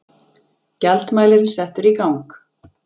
Gjaldmælirinn settur í gang.